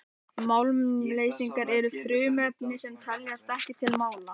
málmleysingjar eru frumefni sem teljast ekki til málma